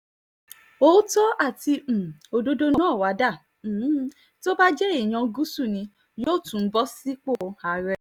otò àti um òdodo náà wàá dà um tó bá jẹ́ èèyàn gúúsù ni yóò tún bọ́ sípò àárẹ̀